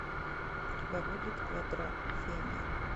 у тебя будет квадрофения